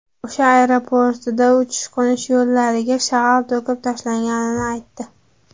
O‘sh aeroportida uchish-qo‘nish yo‘lagiga shag‘al to‘kib tashlanganini aytdi.